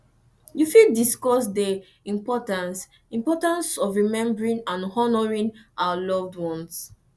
you fit discuss dey importance importance of remembering and honoring our loved ones